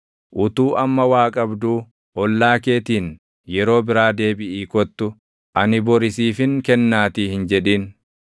Utuu amma waa qabduu, ollaa keetiin, “Yeroo biraa deebiʼii kottu; ani bori siifin kennaatii” hin jedhin.